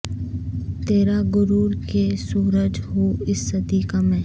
ترا غرور کہ سورج ہوں اس صدی کا میں